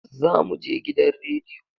Za mu je gidan radiyo.